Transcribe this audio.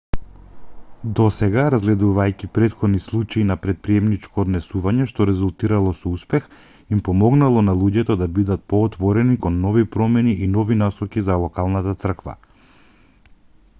досега разгледувајќи претходни случаи на претприемничко однесување што резултирало со успех им помогнало на луѓето да бидет поотворени кон нови промени и нови насоки за локалната црква